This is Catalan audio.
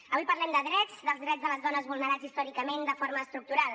avui parlem de drets dels drets de les dones vulnerats històricament de forma estructural